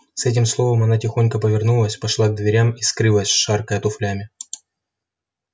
с этим словом она тихо повернулась пошла к дверям и скрылась шаркая туфлями